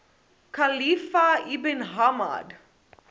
khalifa ibn hamad